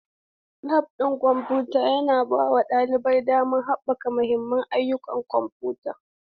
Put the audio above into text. Lab ɗin kwamfuta yana bawa ɗalibai damar haɓaka mahimman ƙwarewar kwamfuta.